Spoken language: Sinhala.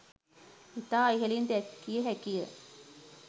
ඉතා ඉහළින් දැකිය හැකිය